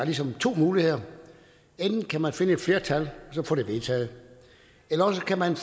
ligesom er to muligheder enten kan man finde et flertal og så få det vedtaget eller også kan man